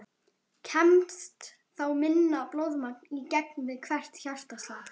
Kemst þá minna blóðmagn í gegn við hvert hjartaslag.